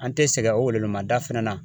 An te sɛgɛn o wele wele ma da fɛnɛ na.